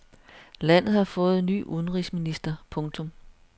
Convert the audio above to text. Landet har fået ny udenrigsminister. punktum